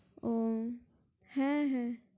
উম হ্যাঁ! হ্যাঁ!